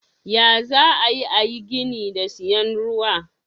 Ya zaayi ayi gini da siyan ruwa.